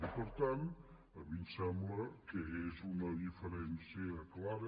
i per tant a mi em sembla que és una diferència clara